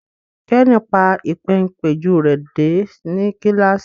Kenny pa Ìpéǹpéjú rẹ dé ní kilasi